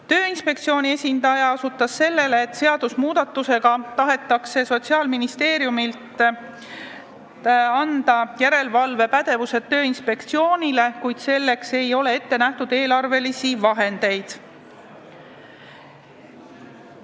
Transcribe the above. Tööinspektsiooni esindaja osutas sellele, et seadusmuudatusega tahetakse järelevalvepädevus anda Sotsiaalministeeriumi asemel Tööinspektsioonile, kuid selleks ei ole eelarveraha ette nähtud.